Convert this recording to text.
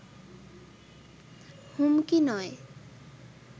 হুমকি নয়